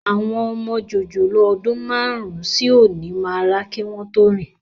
Àwọn ọmọ jòjòló ọdún márùn-ún sí òní máa rá kí wọn tó rìn